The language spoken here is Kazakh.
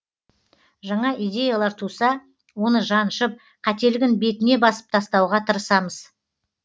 жаңа идеялар туса оны жаншып қателігін бетіне басып тастауға тырысамыз